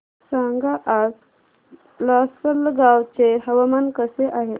सांगा आज लासलगाव चे हवामान कसे आहे